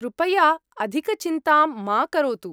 कृपया अधिकचिन्तां मा करोतु।